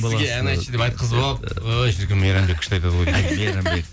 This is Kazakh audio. сізге ән айтшы деп айтқызып алып ой шіркін мейрамбек күшті айтады ғой